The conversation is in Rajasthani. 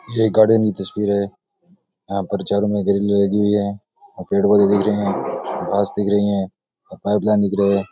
ये एक गार्डन की तस्वीर है यहां पर चारो तरफ ग्रिल लगी हुई है और पेड़ पौधे दिख रहे है घास दिख रही है और पाइपलाइन दिख रही है।